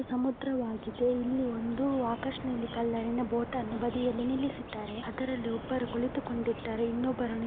ಸಮುದ್ರವಾಗಿದೆ ಇಲ್ಲಿ ಒಂದು ಆಕಾಶ್ ನೀಲಿ ಕಲರಿನಲ್ಲಿನ ಬೋಟ್ ಅನ್ನು ಬದಿಯಲ್ಲಿ ನಿಲ್ಲಿಸಿದ್ದಾರೆ ಅದರಲ್ಲಿ ಒಬ್ಬರು ಕುಳಿತುಕೊಂಡಿದ್ದಾರೆ ಇನ್ನೊಬ್ಬರನ್ನು --